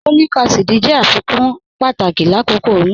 Folic acid jẹ afikun pátàkì lákókò oyún.